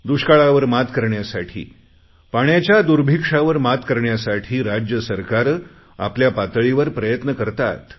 दुष्काळावर मात करण्यासाठी पाण्याच्या दुर्भिक्षावर मात करण्यासाठी राज्य सरकारे आपल्या पातळीवर प्रयत्न करतात